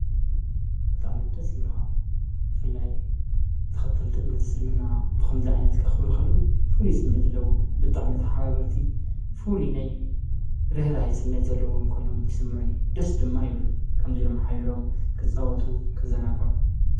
በጣዕ ምደስ ይብለሃ ፍላይ ተኸተልቲ እምነት ስልምና ብኸምዚ ዓይነት ከኽብሩ ኽለዉ ፉሉ ስሚዕ ዘለቦም ብጣዕሚ መታሓባበርቲ ፉል ናይ ርህራ ስሚዕ ዘለዎም ኮይኖም ስምዑኒ ደስ ድማ ይብሉኒ ከምዙይ ኢሎም ኃቢሮም ክጸወቱ ኽዘናጎዑ።